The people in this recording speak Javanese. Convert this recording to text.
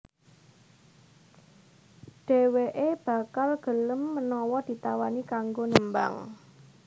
Dhèwèké bakal gelem menawa ditawani kanggo nembang